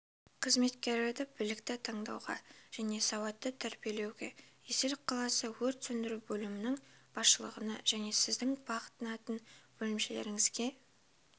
қызметкерлерді білікті таңдауға және сауатты тәрбиелеуге есіл қаласы өрт сөндіру бөлімінің басшылығына және сіздің бағынатын бөлімшеңізге